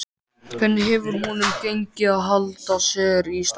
Hvernig hefur honum gengið að halda sér í standi?